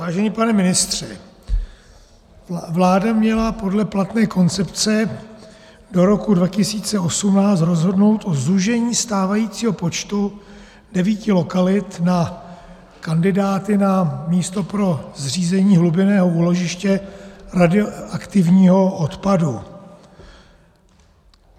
Vážený pane ministře, vláda měla podle platné koncepce do roku 2018 rozhodnout o zúžení stávajícího počtu devíti lokalit na kandidáty na místo pro zřízení hlubinného úložiště radioaktivního odpadu.